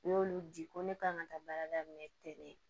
U y'olu di ko ne k'an ka taa baara daminɛ ten